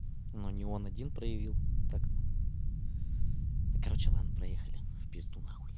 но не он один проявил так-то да короче ладно проехали в пизду нахуй